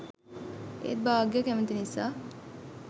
ඒත් භාග්‍යා කැමති නිසා